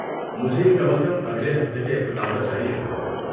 مجھے یہ کم از کم اگلے ہفتے کے اختتام تک چاہیے۔